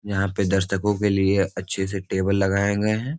यहाँ पे दर्शको के लिए अच्छे से टेबल लगाये गए हैं।